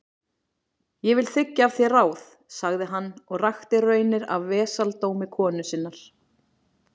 Ég vil þiggja af þér ráð, sagði hann, og rakti raunir af vesaldómi konu sinnar.